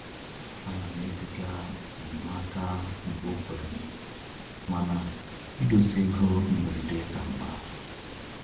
A nam eziga enyemaka mgbe okwerem mana idosa ego mberede ka mkpa